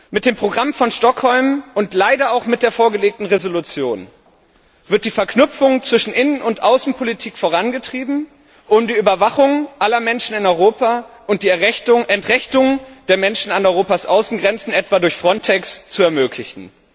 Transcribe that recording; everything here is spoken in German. Mit dem Programm von Stockholm und leider auch mit der vorgelegten Entschließung wird die Verknüpfung zwischen Innen und Außenpolitik vorangetrieben, um die Überwachung aller Menschen in Europa und die Entrechtung der Menschen an Europas Außengrenzen etwa durch Frontex zu ermöglichen.